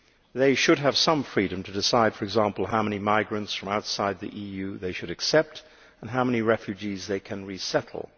They should have some freedom to decide, for example, how many migrants from outside the EU they should accept and how many refugees they can resettle.